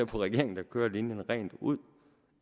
regeringen der kører linjen rent ud